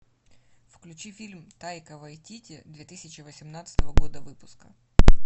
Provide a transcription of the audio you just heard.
включи фильм тайка вайтити две тысячи восемнадцатого года выпуска